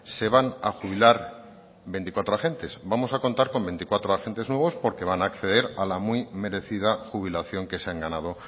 se van a jubilar veinticuatro agentes vamos a contar con veinticuatro agentes menos porque van a acceder a la muy merecida jubilación que se han ganado